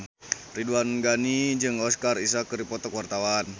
Ridwan Ghani jeung Oscar Isaac keur dipoto ku wartawan